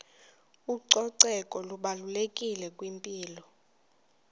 ucoceko lubalulekile kwimpilo